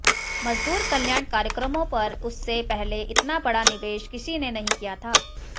मजदूर कल्याण कार्यक्रमों पर उससे पहले इतना बड़ा निवेश किसी ने नहीं किया था